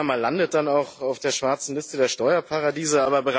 Panama landet dann auch auf der schwarzen Liste der Steuerparadiese.